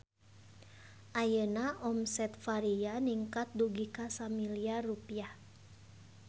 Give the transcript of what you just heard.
Ayeuna omset Varia ningkat dugi ka 1 miliar rupiah